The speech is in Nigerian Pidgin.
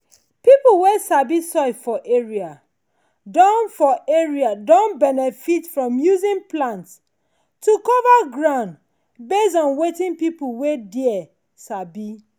people wey sabi soil for area don for area don benefit from using plant to cover ground based on wetin people wey there sabi.